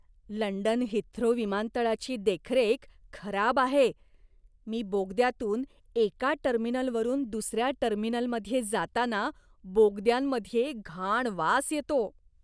London Heathrow विमानतळाची देखरेख खराब आहे. मी बोगद्यातून एका टर्मिनलवरून दुसऱ्या टर्मिनलमध्ये जाताना, बोगद्यांमध्ये घाण वास येतो.